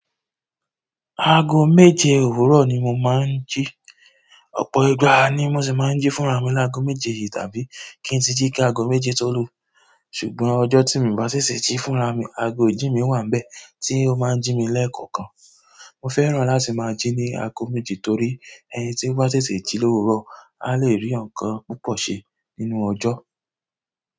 Aago méje òwúrọ̀ ni mo máa ń jí. Ọ̀pọ̀ ìgbà ni mo sì máa ń jí fúnra mi láàgò méje yìí tàbí kí n tíì jí ká aago méje tó lù. Ṣùgbọ́n ọjọ́ tí mo bá sìsè jí fúnra mi, aago ìjí mi wà n bẹ̀ tí ó máa ń jí mi lẹ́ẹ̀kọ̀kan. Mọ fẹ́ràn láti máa jí ní aago méje torí ẹni tí ó bá sìsè jí lówurọ̀, a lè rí nǹkan púpọ̀ ṣe nínú ọjọ́.